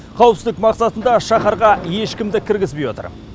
қауіпсіздік мақсатында шаһарға ешкімді кіргізбей отыр